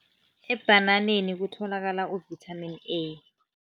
Ebhananeni kutholakala u-Vitamin A.